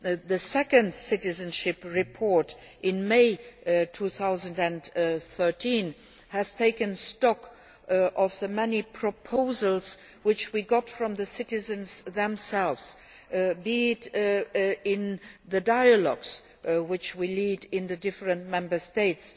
The second Citizenship Report, in May 2013, has taken stock of the many proposals which we received from the citizens themselves, be it in the dialogues which we lead in the different Member States,